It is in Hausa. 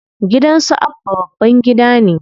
Gidan su Abba babban gida ne.